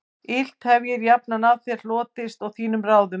Illt hefir jafnan af þér hlotist og þínum ráðum